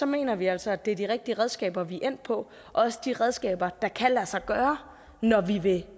mener vi altså at det er de rigtige redskaber vi er endt på og også de redskaber der kan lade sig gøre når vi vil